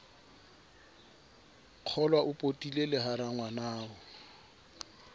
kgolwao potile le ha rangwanao